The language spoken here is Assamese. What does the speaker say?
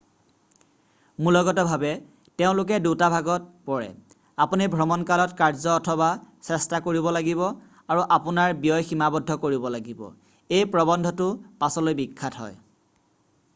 মূলগতভাৱে তেওঁলোকে দুটা ভাগত পৰে আপুনি ভ্ৰমণকালত কাৰ্য অথবা চেষ্টা কৰিব কৰিব লাগিব আৰু আপোনাৰ ব্যয় সীমাবদ্ধ কৰিব লাগিব এই প্ৰবন্ধটো পাছলৈ বিখ্যাত হয়